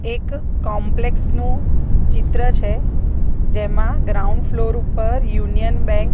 એક કૉમ્પ્લેક્સ નુ ચિત્ર છે જેમા ગ્રાઉન્ડ ફ્લોર ઉપર યુનિયન બેન્ક --